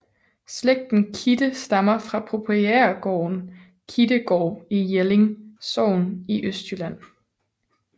Slægten Kidde stammer fra proprietærgården Kiddegård i Jelling Sogn i Østjylland